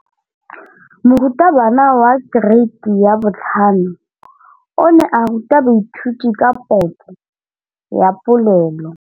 Moratabana wa kereiti ya 5 o ne a ruta baithuti ka popô ya polelô.